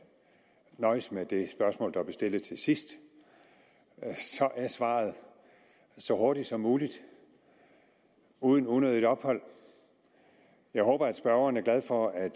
nøjes med det spørgsmål der blev stillet til sidst så er svaret så hurtigt som muligt uden unødigt ophold jeg håber at spørgeren er glad for at